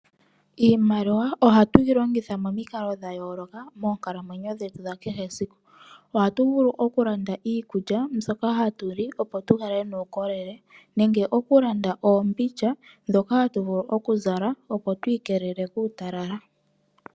Iimaliwa ohatu yi longitha momikalo dha yooloka, moonkalamwenyo dhetu dha kehe esiku. Ohatu vulu oku landa iikulya mbyoka hatu li opo tukale nuukolele, nenge oku landa oombindja dhoka hatu vulu oku zala, opo twiikelele koonyala.